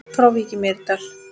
Frá Vík í Mýrdal